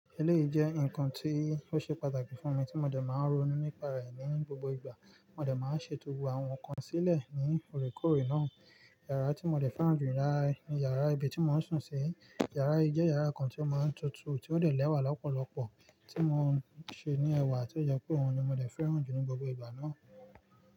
Eléyìí jẹ́ nǹkan tí ó ṣe pàtàkì fún mi tí mo dẹ̀ máa ń ronú nípa rẹ̀, ní gbogbo ìgbà, mo dẹ̀ máa ń ṣètò àwọn nǹkan sílẹ̀ ní òrèkorè náà. Yàrá tí mo dẹ̀ fẹ́ràn jù, ní yàrá ibi tí mò ń sùn sí. Yàrá yìí jẹ́ yàrá kan tí ó máa ń tutù tí ó dẹ̀ lẹ́wà lọ́pọ̀lọpọ̀ tí mò ń ṣe ní ẹwà tí ó yẹ pé òun ni mo dẹ̀ fẹ́ràn jù ní gbogbo ìgbà náà.